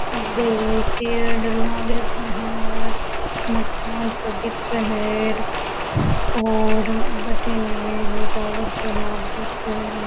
आगे एक पेड़ लाग रखे है और मकान सा दिखे है और बैठे ने ईगो टावर सो लाग रखे है।